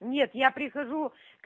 нет я прихожу